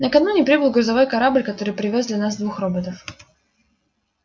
накануне прибыл грузовой корабль который привёз для нас двух роботов